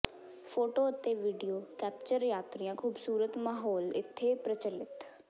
photo ਅਤੇ video capture ਯਾਤਰੀਆ ਖੂਬਸੂਰਤ ਮਾਹੌਲ ਇੱਥੇ ਪ੍ਰਚਲਿਤ